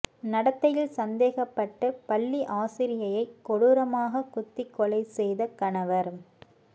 நடத்தையில் சந்தேகப்பட்டு பள்ளி ஆசிரியையைக் கொடூரமாகக் குத்திக் கொலை செய்த கணவர்